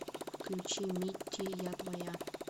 включи митти я твоя